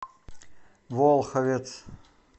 волховец